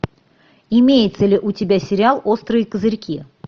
имеется ли у тебя сериал острые козырьки